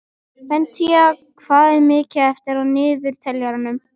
Beníta, hvað er mikið eftir af niðurteljaranum?